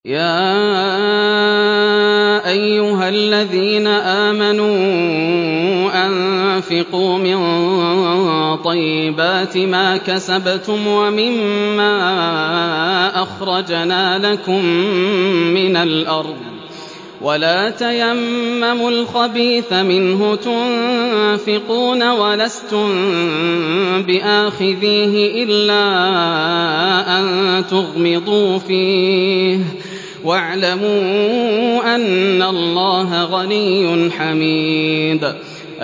يَا أَيُّهَا الَّذِينَ آمَنُوا أَنفِقُوا مِن طَيِّبَاتِ مَا كَسَبْتُمْ وَمِمَّا أَخْرَجْنَا لَكُم مِّنَ الْأَرْضِ ۖ وَلَا تَيَمَّمُوا الْخَبِيثَ مِنْهُ تُنفِقُونَ وَلَسْتُم بِآخِذِيهِ إِلَّا أَن تُغْمِضُوا فِيهِ ۚ وَاعْلَمُوا أَنَّ اللَّهَ غَنِيٌّ حَمِيدٌ